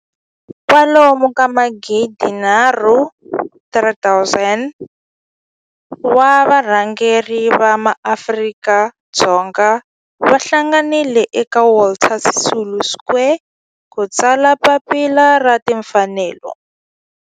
Kwalomu ka magidi nharhu, 3 000, wa varhangeri va maAfrika-Dzonga va hlanganile eka Walter Sisulu Square ku ta tsala Papila ra Tinfanelo.